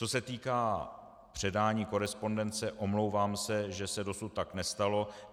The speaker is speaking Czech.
Co se týká předání korespondence, omlouvám se, že se dosud tak nestalo.